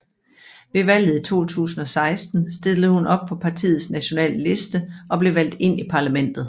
Ved valget i 2016 stillede hun op på partiets nationale liste og blev valgt ind i parlamentet